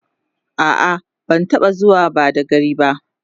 a'a ban taɓa zuwa badagry ba